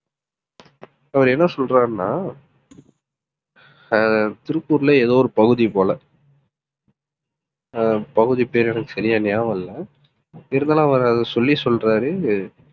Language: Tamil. அவர் என்ன சொல்றாருன்னா ஆஹ் திருப்பூர்ல ஏதோ ஒரு பகுதி போல ஆஹ் பகுதி பேரு எனக்கு சரியா ஞாபகம் இல்லை இருந்தாலும் அவர் அதை சொல்லி சொல்றாரு